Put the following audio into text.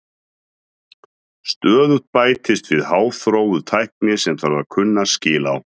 Stöðugt bætist við háþróuð tækni sem þarf að kunna skil á.